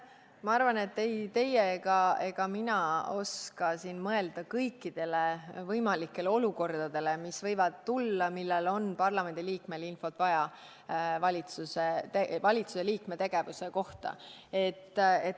Ma arvan, et ei teie ega mina oska siin mõelda kõikidele võimalikele olukordadele, mis võivad ette tulla, millal on parlamendi liikmel vaja infot valitsuse liikme tegevuse kohta.